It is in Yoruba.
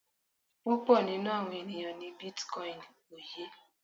Púpọ̀ nínú àwọn ènìyàn ní bitcoin ó yé.